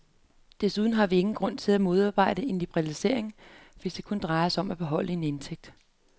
Desuden har vi ingen grund til at modarbejde en liberalisering, hvis det kun drejer sig om at beholde en indtægt.